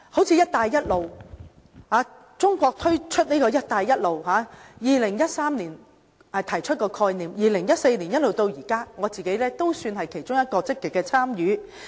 例如，中國在2013年提出"一帶一路"的概念，由2014年到現在，我算是其中一個積極參與者。